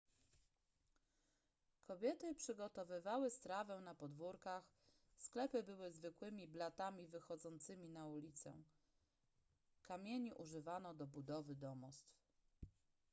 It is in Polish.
kobiety przygotowywały strawę na podwórkach sklepy były zwykłymi blatami wychodzącymi na ulicę kamieni używano do budowy domostw